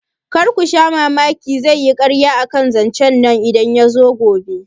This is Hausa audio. Karku sha mamaki zaiyi karya akan zancen nan idan yazo gobe